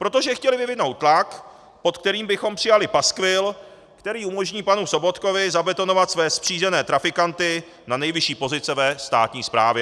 Protože chtěli vyvinout tlak, pod kterým bychom přijali paskvil, který umožní panu Sobotkovi zabetonovat své zkřížené trafikanty na nejvyšší pozice ve státní správě.